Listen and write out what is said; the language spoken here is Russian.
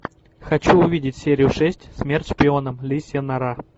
хочу увидеть серию шесть смерть шпионам лисья нора